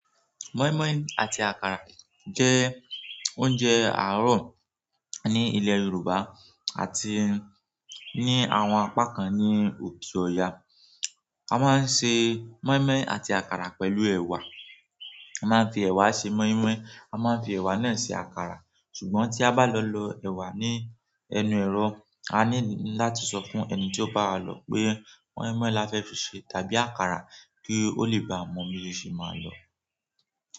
Moinmoin àti àkàrà jẹ́ oúnjẹ àárọ̀ ní ilẹ̀ Yorùbá àti ní àwọn apá kan ní òkè Ọ̀yà. A máa ń ṣe moinmoin àti àkàrà pẹ̀lú ẹ̀wà. A máa ń fi ẹ̀wà ṣe moinmoin, a máa ń fi ẹ̀wà náà ṣe àkàrà. Ṣùgbọ́n tí a bá lọ lò ẹwà ní ẹnu èrò, a ní láti sọ fún ẹni tí ó bá wa lọ pé, moinmoin la fẹ fi ṣe tàbí àkàrà kí ó lè bá a mọ bí o ṣe máa lọ.